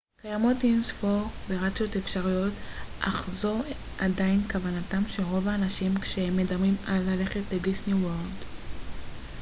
קיימות אינספור וריאציות אפשריות אך זו עדיין כוונתם של רוב האנשים כשהם מדברים על ללכת לדיסני וורלד